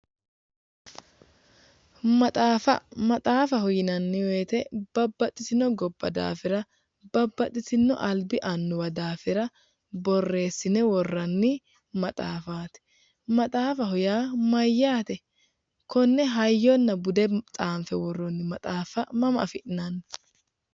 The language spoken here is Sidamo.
Maxaafa maxaafaho yinanni woyite babbaxitino gobba daafira babbaxitino alibbi annuwa daafira boreesine worranni maxaafaati maxaafaho yaa Mayyaate? Konne hayyona bude tsaanife worooni matsaafa maama afi'nani?